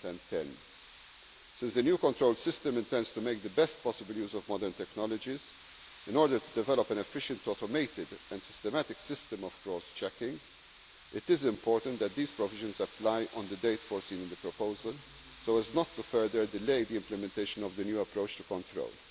1 January 2010. Since the new control system intends to make the best possible use of modern technologies, in order to develop an efficient automated and systematic system of cross checking, it is important that these provisions apply on the date foreseen in the proposal, so as not to further delay the implementation of the new approach